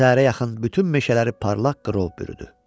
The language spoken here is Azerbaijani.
Səhərə yaxın bütün meşələri parlaq qrov bürüdü.